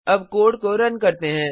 अब कोड को रन करते हैं